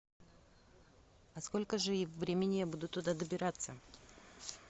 а сколько же времени я буду туда добираться